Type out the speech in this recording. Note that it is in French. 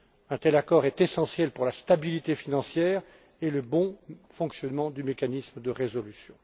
Un tel accord est essentiel pour la stabilité financière et le bon fonctionnement du mécanisme de résolution.